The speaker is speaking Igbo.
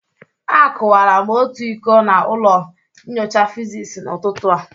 Akụwara m otu iko na ụlọ nyocha physics n'ụtụtụ a.